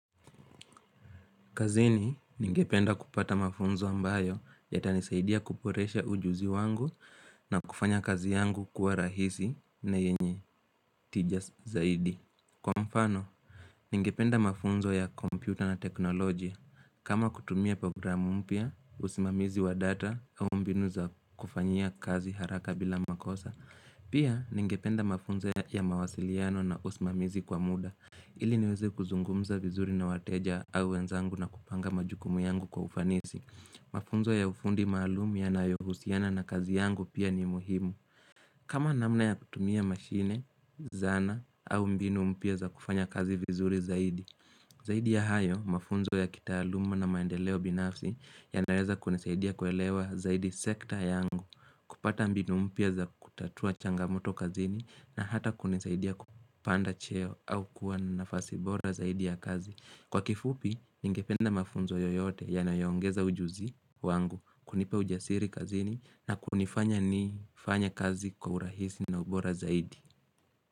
Kazini, ningependa kupata mafunzo ambayo yatanisaidia kuboresha ujuzi wangu na kufanya kazi yangu kuwa rahisi na yenye tija zaidi. Kwa mfano, ningependa mafunzo ya computer na technology. Kama kutumia programu mpya, usimamizi wa data au mbinu za kufanyia kazi haraka bila makosa. Pia, ningependa mafunzo ya mawasiliano na usimamizi kwa muda. Ili niweze kuzungumza vizuri na wateja au wenzangu na kupanga majukumu yangu kwa ufanisi. Mafunzo ya ufundi maalumu yanayohusiana na kazi yangu pia ni muhimu. Kama namna ya kutumia mashine, zana au mbinu mpya za kufanya kazi vizuri zaidi. Zaidi ya hayo, mafunzo ya kitaaluma na maendeleo binafsi yanaeza kunisaidia kuelewa zaidi sekta yangu. Kupata mbinu mpya za kutatua changamoto kazini na hata kunisaidia kupanda cheo au kuwa nafasi bora zaidi ya kazi. Kwa kifupi, ningependa mafunzo yoyote yanayo ongeza ujuzi wangu kunipa ujasiri kazini na kunifanya nifanye kazi kwa urahisi na ubora zaidi.